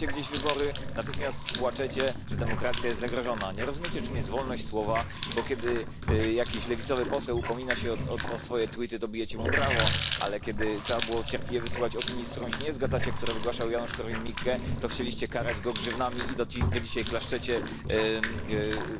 Monsieur le Président, il est bon pour la sécurité internationale qu'un débat soit ouvert sur le sujet des robots tueurs. En effet, les systèmes d'armes létales autonomes soulèvent de légitimes questions morales, du fait de l'ampleur des dégâts qu'ils peuvent causer et de la non discrimination entre leurs cibles potentielles. De plus, ces robots tueurs devenus ultradéveloppés pourraient à l'avenir échapper au contrôle humain.